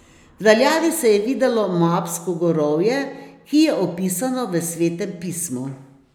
V daljavi se je videlo Moabsko gorovje, ki je opisano v Svetem pismu.